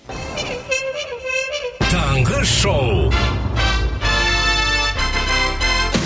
таңғы шоу